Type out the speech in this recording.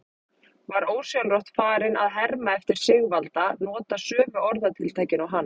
Var ósjálfrátt farinn að herma eftir Sigvalda, nota sömu orðatiltækin og hann.